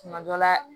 Tuma dɔ la